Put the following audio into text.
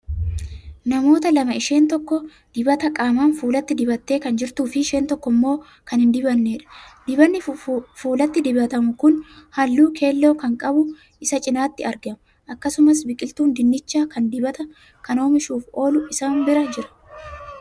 Namoota lama isheen tokko dibata qaamaan fuulatti dibattee Kan jirtuufi isheen tokko immoo Kan hin dibanneedha. dabannii fuulatti dibatamu Kan halluu keelloon qabu isaan cinaatti argama. akkasumas biqiltuun dinnichaa Kan dibata Kan oomishuuf oolu isaan bira jira.